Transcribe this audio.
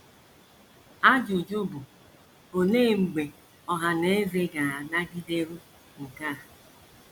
Ajụjụ bụ, olee mgbe ọha na eze ga - anagideru nke a. ”